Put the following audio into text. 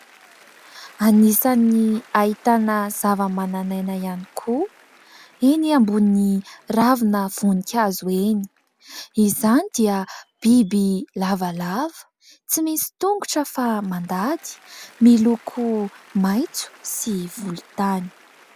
Anisany ahitana zava manan'aina ihany kou eny ambony ravina voninkazo eny, izany dia biby lavalava tsy misy tongotra fa mandady, miloko maintso sy volon-tany.